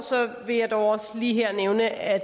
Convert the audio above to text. vil jeg dog også lige nævne at